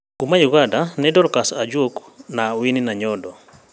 Kuuma Uganda nĩ Dorcas Ajok na Winnie Nanyondo